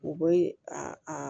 U bɛ a